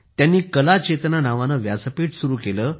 त्यांनी कला चेतना नावाने व्यासपीठ सुरु केले